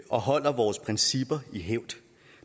og holder vores principper i hævd